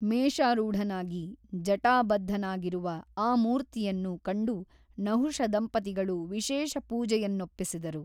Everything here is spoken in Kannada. ಮೇಷರೂಢನಾಗಿ ಜಟಾಬದ್ಧನಾಗಿರುವ ಆ ಮೂರ್ತಿಯನ್ನು ಕಂಡು ನಹುಷದಂಪತಿಗಳು ವಿಶೇಷ ಪೂಜೆಯನ್ನೊಪ್ಪಿಸಿದರು.